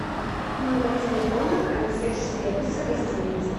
номер телефона консьерж сервиса гостиницы